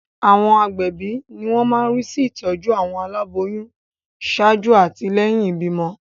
Àwọn agbẹ̀bí ni wọ́n máa ń rí sí ìtọ́jú àwọn aláboyún ṣáájú àti lẹ́yìn ìbímọ.